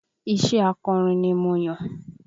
Iṣé akọrin ni mo yàn